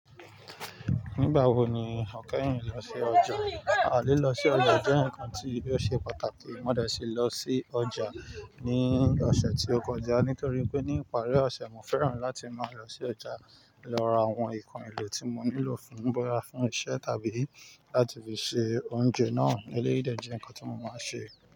Nígbà wo ni o kẹ́yìn lọ sí ọjà? A lilọ sí ọjà jẹ̀ nǹkan tí ó ṣe pàtàkì. Mo dẹ̀ ṣi lọ sí ọjà ní ọ̀sẹ̀ tí ó kọjá nítorí pé ní ìparí ọ̀sẹ̀ mo fẹ́ràn láti máa lọ sí ọjà lọ ra àwọn nǹkan èlò tí mo nílò fún bọ́ya fún iṣẹ́ tàbí láti fi ṣe oúnjẹ náà. Eléyi de jẹ́ ǹnkan tí mo máa ṣe.